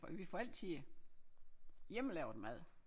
Får vi får altid øh hjemmelavet mad